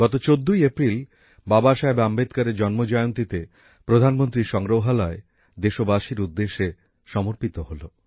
গত ১৪ই এপ্রিল বাবাসাহেব আম্বেদকরের জন্মজয়ন্তীতে প্রধানমন্ত্রী সংগ্রহালয় দেশবাসীর উদ্দেশে সমর্পিত হল